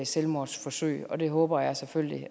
selvmordsforsøg og det håber jeg selvfølgelig